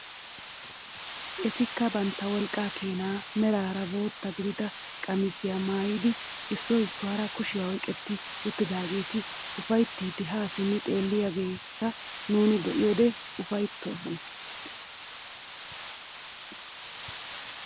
Etikka bantta wolqqaa keenaa meraara bootta gidida qamisiyaa maayidi issoy issuwaara kushiyaa oyqetti uttidaageti ufayttiidi haa simmi xeelliyaageta nuuni be'idi ufayttoos!